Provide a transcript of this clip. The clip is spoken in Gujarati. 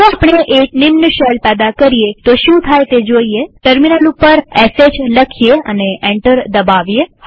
જો આપણે એક સબ શેલ પેદા કરીએતો શું થાય છે તે જોઈએટર્મિનલ ઉપર શ લખીએ એન્ટર દબાવીએ